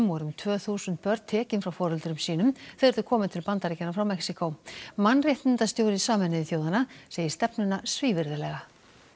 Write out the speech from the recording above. voru um tvö þúsund börn tekin frá foreldrum sínum þegar þau komu til Bandaríkjanna frá Mexíkó mannréttindastjóri Sameinuðu þjóðanna segir stefnuna svívirðilega